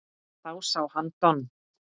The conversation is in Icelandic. Þá sá hann Don